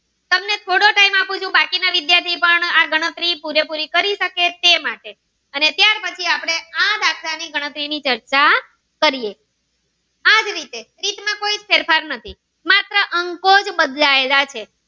બાકી ના વિદ્યાર્થી પણ ગણતરી પુરે પુરી કરી શકે છે તે માટે અને ત્યાર પછી આ દાખલ ની ગણતરી ન ઈ ચર્ચા કરીએ આ જ રીતે રીત માં કોઈ ફેરફાર નથી માત્ર અંકો જ બદલા એલ છે.